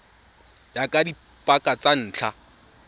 ya ka dipaka tsa ntlha